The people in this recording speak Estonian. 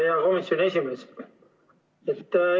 Hea komisjoni esimees!